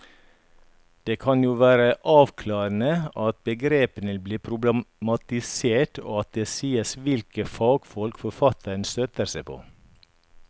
Det kan jo være avklarende at begrepene blir problematisert og at det sies hvilke fagfolk forfatteren støtter seg på.